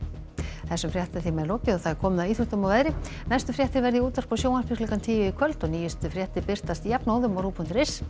þessum fréttatíma er lokið og komið að íþróttum og veðri næstu fréttir verða í útvarpi og sjónvarpi klukkan tíu í kvöld og nýjustu fréttir birtast jafnóðum á rúv punktur is en